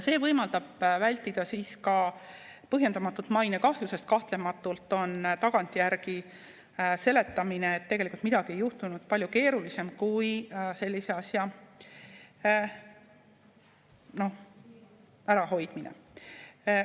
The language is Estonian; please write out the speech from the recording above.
See võimaldab vältida ka põhjendamatut mainekahju, sest kahtlematult on tagantjärgi seletamine, et tegelikult midagi ei juhtunud, palju keerulisem kui sellise asja ärahoidmine.